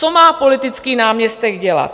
Co má politický náměstek dělat?